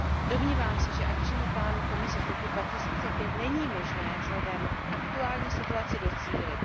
Domnívám se, že akčního plánu Komise z roku 2005 není možné vzhledem k aktuální situaci docílit.